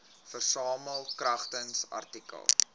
versamel kragtens artikel